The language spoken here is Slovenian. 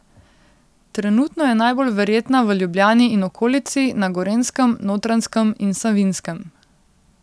Trenutno je najbolj verjetna v Ljubljani in okolici, na Gorenjskem, Notranjskem in Savinjskem.